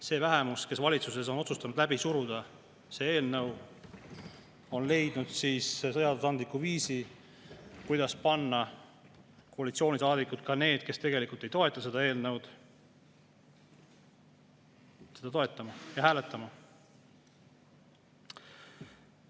See vähemus, kes valitsuses on otsustanud läbi suruda selle eelnõu, on leidnud seadusandliku viisi, kuidas panna koalitsioonisaadikud, ka need, kes tegelikult ei toeta seda eelnõu, seda toetama ja hääletama.